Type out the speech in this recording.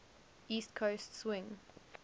east coast swing